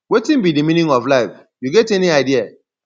wetin be di meaning of life you get any idea